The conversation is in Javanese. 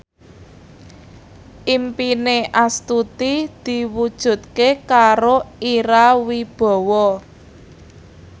impine Astuti diwujudke karo Ira Wibowo